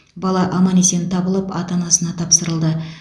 бала аман есен табылып ата анасына тапсырылды